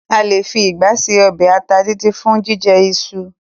A lè fi ìgbá ṣe ọbẹ ata díndín fun jíjẹ iṣu.